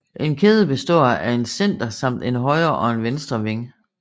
En kæde består af en center samt en højre og en venstre wing